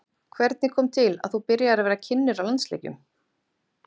Hvernig kom til að þú byrjaðir að vera kynnir á landsleikjum?